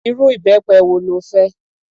Irú ìbẹpẹ wo lo fẹ́?